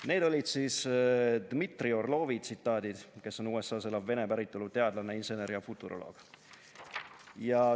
" Need olid siis tsitaadid Dmitri Orlovilt, kes on USA-s elav vene päritolu teadlane, insener ja futuroloog.